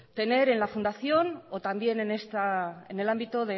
tener en la fundación o también en el ámbito